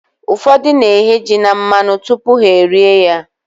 Ụfọdụ na-eghe ji na mmanụ tupu ha e rie ya.